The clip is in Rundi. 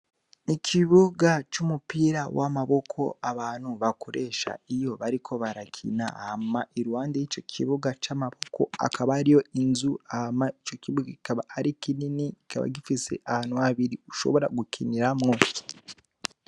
Ikibuga c'umupira w'amaboko abantu bakoresha iyo bariko barakina. Hama iruhande y'ico kibuga c'amaboko hakaba hariyo inzu. Hama ico kibuga kikaba ari kinini kikaba gifise ahantu habiri ushobora gukiniramwo.